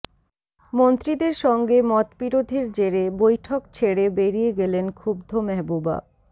মন্ত্রীদের সঙ্গে মতবিরোধের জেরে বৈঠক ছেড়ে বেরিয়ে গেলেন ক্ষুব্ধ মেহেবুবা